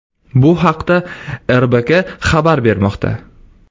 Bu haqda” RBK” xabar bermoqda .